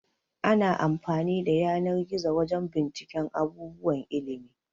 Ana amfani da yanar-gizo wajan binciken abubuwan ilimi